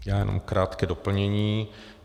Já jenom krátké doplnění.